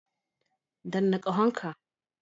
Danna ƙahon ka.